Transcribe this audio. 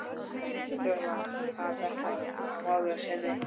Þurfa að betla af móður sinni.